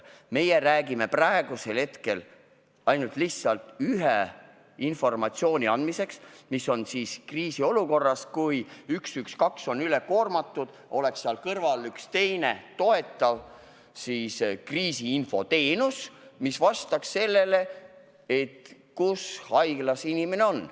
Meie räägime praegu ainult ühte tüüpi informatsiooni andmisest kriisiolukorras, kui 112 on üle koormatud – sellest, et siis oleks seal kõrval üks teine toetav kriisiinfo teenus, mis vastaks, kus haiglas inimene on.